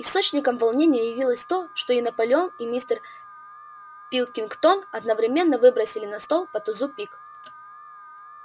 источником волнения явилось то что и наполеон и мистер пилкингтон одновременно выбросили на стол по тузу пик